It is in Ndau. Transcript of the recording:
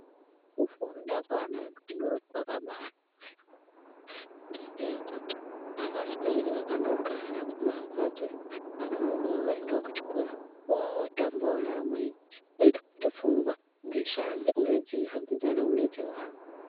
Kufunda kweana adoodori kwakabaanaka yaambo ngendaa yekuti avasweri vakandogara kumamhatso iyo. Vanomukawo voende kuchikora vootambawo neamweni. Zvinoite kuti pfungwa dzishande uye dzihambidzanewo nedzevamwe.